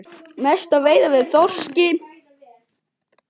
Mest veiðum við af þorski.